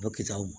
O bɛ kitaw